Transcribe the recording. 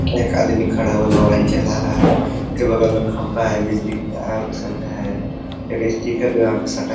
एक आदमी खड़ा हुआ मोबाईल चला रहा है। उसके बगल में खंभा है। बिजली की तार यह सब हैं। एक स्टीकर है यहाँ पर सटा --